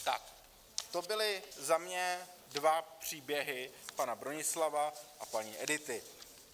Tak to byly za mě dva příběhy, pana Bronislava a paní Edity.